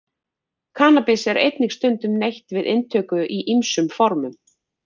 Kannabis er einnig stundum neytt við inntöku í ýmsum formum.